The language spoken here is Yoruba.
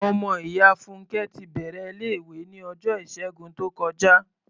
Ọmọ ìyá Fúnnkẹ́ ti bẹ̀rẹ̀ ilé-ìwé ní ọjọ́ Ìṣẹ́gun tó kọjá.